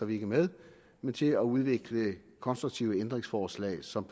ikke med men til at udvikle konstruktive ændringsforslag som